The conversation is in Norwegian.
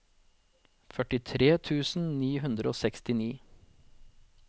førtitre tusen ni hundre og sekstini